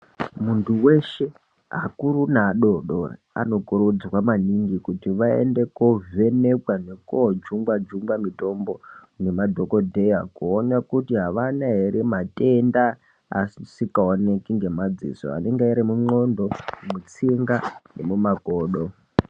Muntu weshe akuru neadodori anokurudzirwa maningi kuti aende kovhenekwa nekojungwa-jungwa mutombo nemadhogodheya kuona kuti havana ere matenda asikaonekwi ngemadziso, anenge arimu ndxondo, tsinga nemumakodo.